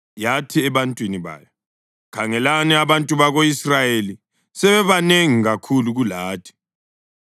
Yathi ebantwini bayo, “Khangelani, abantu bako-Israyeli sebebanengi kakhulu kulathi.